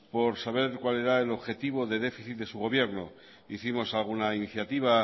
por saber cuál era el objetivo de déficit de su gobierno hicimos alguna iniciativa